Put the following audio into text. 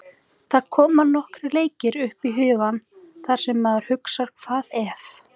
Það koma nokkrir leikir upp í hugann þar sem maður hugsar hvað ef?